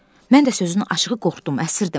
Mən də, sözün açığı, qorxdum, əsirdim.